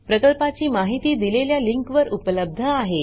प्रकल्पाची माहिती दिलेल्या लिंकवर उपलब्ध आहे